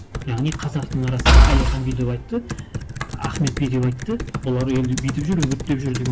яғни қазақтың арасында әлихан бүйдеп айтты ахмет бүйдеп айтты олар елді бүйтіп жүр үгіттеп жүр деген